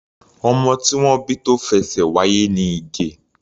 Ọmọ tí wọ́n bí tó fẹṣẹ̀ wáyé ni Ige.